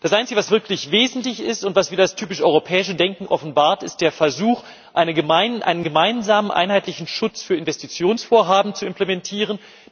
Das Einzige, was wirklich wesentlich ist und was wieder das typisch europäische Denken offenbart, ist der Versuch, einen gemeinsamen einheitlichen Schutz für Investitionsvorhaben zu implementieren.